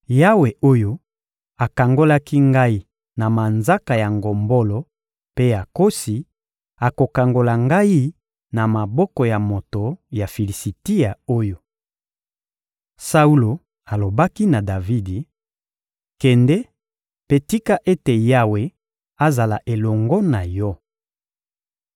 Yawe oyo akangolaki ngai na manzaka ya ngombolo mpe ya nkosi akokangola ngai na maboko ya moto ya Filisitia oyo. Saulo alobaki na Davidi: — Kende, mpe tika ete Yawe azala elongo na yo.